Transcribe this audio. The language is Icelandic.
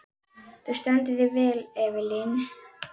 Þú stendur þig vel, Evelyn!